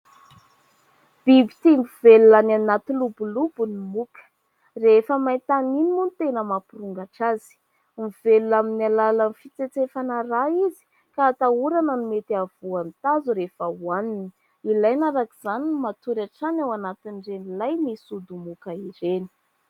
Biby tia mivelona any anaty lobolobo ny moka. Rehefa maintany moa no tena mampirongatra azy. Mivelona amin'ny alalan'ny fitsetsefana rà izy ka atahorana ny mety hahavoa ny tazo rehefa ohaniny. Ilaina araka izany ny matory hatrany ao anatin'ireny ilay misy odimoka ireny.